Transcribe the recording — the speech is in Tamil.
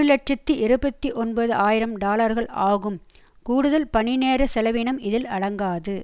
இலட்சத்தி இருபத்தி ஒன்பது ஆயிரம் டாலர்கள் ஆகும் கூடுதல் பணிநேர செலவினம் இதில் அடங்காது